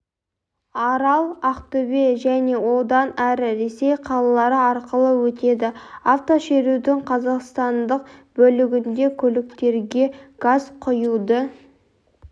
арал ақтөбе және одан әрі ресей қалалары арқылы өтеді автошерудің қазақстандық бөлігінде көліктерге газ құюды